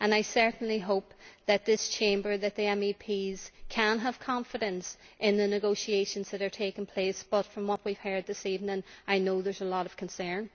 I certainly hope that this Chamber, the MEPs, can have confidence in the negotiations that are taking place, but I know from what we have heard this evening that there is a lot of concern.